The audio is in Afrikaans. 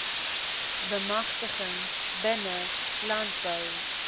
bemagtiging binne landbou